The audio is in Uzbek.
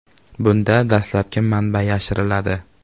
Bunda dastlabki manba yashiriladi.